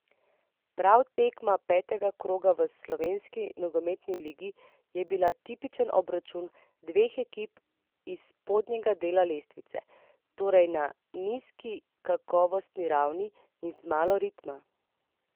Prva tekma petega kroga v slovenski nogometni ligi je bila tipičen obračun dveh ekip iz spodnjega dela lestvice, torej na nizki kakovostni ravni in z malo ritma.